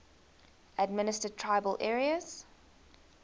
administered tribal areas